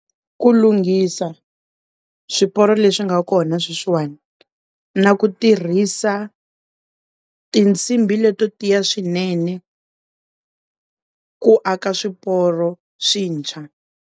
Ku lunghisa swiporo leswi nga kona sweswi wani na ku tirhisa tinsimbhi leto tiya swinene ku aka swiporo swintshwa.